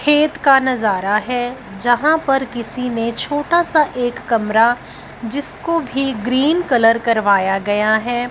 खेत का नजारा हैं जहां पर किसी ने छोटा सा एक कमरा जिसको भी ग्रीन कलर करवाया गया हैं।